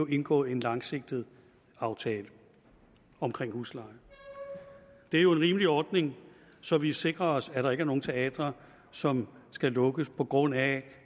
indgået en langsigtet aftale omkring husleje det er jo en rimelig ordning så vi sikrer os at der ikke er nogen teatre som skal lukkes på grund af